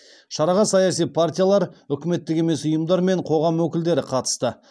шараға саяси партиялар үкіметтік емес ұйымдар мен қоғам өкілдері қатысты